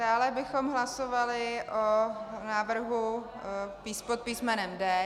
Dále bychom hlasovali o návrhu pod písmenem D.